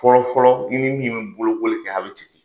Fɔlɔfɔlɔ i ni bi bolokoli kɛ a bɛ ten de.